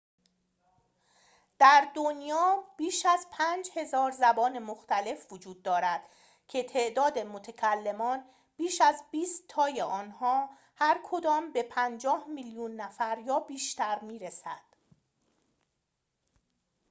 در دنیا بیش از ۵,۰۰۰ زبان مختلف وجود دارد که تعداد متکلمان بیش از بیست تای آنها هرکدام به ۵۰ میلیون نفر یا بیشتر می‌رسد